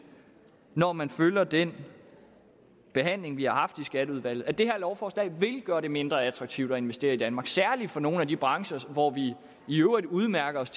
når man følger den behandling vi har haft i skatteudvalget at det her lovforslag vil gøre det mindre attraktivt at investere i danmark særlig for nogle af de brancher hvor vi i øvrigt udmærker os